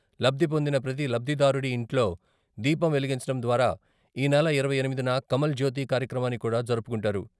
లబ్ధి పొందిన ప్రతీ లబ్ధిదారుడి ఇంట్లో దీపం వెలిగించడం ద్వారా ఈనెల ఇరవై ఎనిమిదిన కమల్ జ్యోతి కార్యక్రమాన్ని కూడా జరుపుకుంటారు.